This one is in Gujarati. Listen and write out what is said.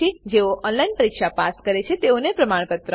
જેઓ ઓનલાઈન પરીક્ષા પાસ કરે છે તેઓને પ્રમાણપત્રો આપે છે